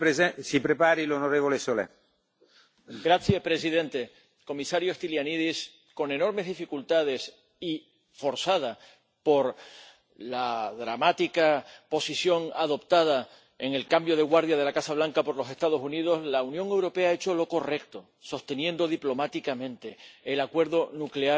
Señor presidente, señor comisario Stylianides, con enormes dificultades y forzada por la dramática posición adoptada en el cambio de guardia de la Casa Blanca por los Estados Unidos, la Unión Europea ha hecho lo correcto, sosteniendo diplomáticamente el acuerdo nuclear con Irán,